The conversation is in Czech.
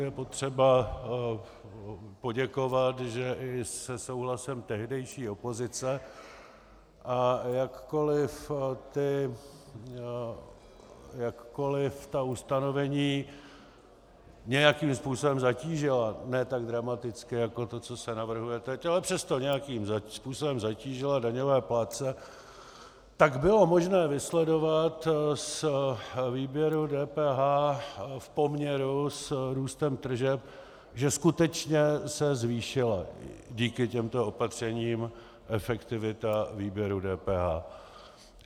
Je potřeba poděkovat, že i se souhlasem tehdejší opozice, a jakkoliv ta ustanovení nějakým způsobem zatížila, ne tak dramaticky jako to, co se navrhuje teď, ale přesto nějakým způsobem zatížila daňové plátce, tak bylo možné vysledovat z výběru DPH v poměru s růstem tržeb, že skutečně se zvýšila díky těmto opatřením efektivita výběru DPH.